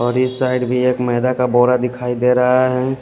और इस साइड भी एक मैदा का बोरा दिखाई दे रहा है।